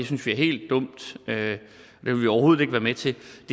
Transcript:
synes er helt dumt at det vil man overhovedet ikke være med til